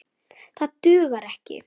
Það dugar ekki.